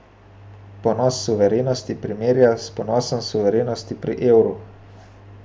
Prenos suverenosti primerja s prenosom suverenosti pri evru.